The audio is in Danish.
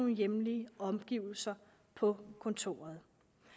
hjemlige omgivelser på kontoret